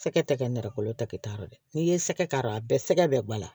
Sɛgɛ tɛ kɛ nɛrɛ kolo ta kɛta lo dɛ n'i ye sɛgɛ k'a ra a bɛɛ sɛgɛ bɛɛ bala